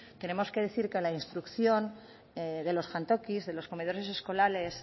tenemos que decir que la instrucción de los jantokis de los comedores escolares